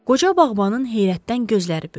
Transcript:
Qoca bağbanın heyrətdən gözləri böyüdü.